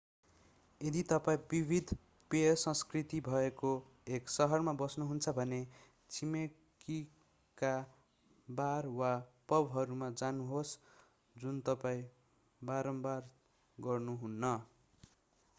यदि तपाईं विविध पेय संस्कृति भएको एक सहरमा बस्नुहुन्छ भने छिमेकीका बार वा पबहरूमा जानुहोस् जुन तपाईँ बारम्बार गर्नुहुन्न